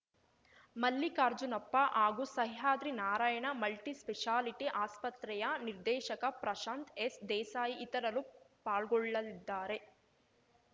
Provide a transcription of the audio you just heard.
ಮಲ್ಲಿಕಾರ್ಜುನಪ್ಪ ಹಾಗೂ ಸಹ್ಯಾದ್ರಿ ನಾರಾಯಣ ಮಲ್ಟಿಸ್ಪೆಷಾಲಿಟಿ ಆಸ್ಪತ್ರೆಯ ನಿರ್ದೇಶಕ ಪ್ರಶಾಂತ್‌ ಎಸ್‌ ದೇಸಾಯಿ ಇತರರು ಪಾಲ್ಗೊಳ್ಳಲಿದ್ದಾರೆ